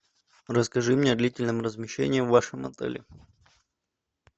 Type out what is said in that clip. расскажи мне о длительном размещении в вашем отеле